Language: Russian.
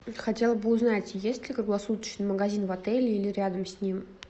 хотела бы узнать есть ли круглосуточный магазин в отеле или рядом с ним